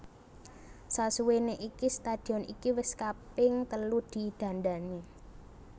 Sasuwene iki stadion iki wis kaping telu di dandani